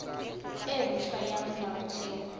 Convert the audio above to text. e nt hwa ya molaotheo